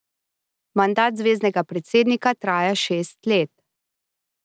Mandat zveznega predsednika traja šest let.